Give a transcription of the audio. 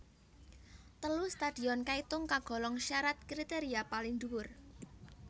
Telu stadion kaitung kagolong syarat kriteria paling dhuwur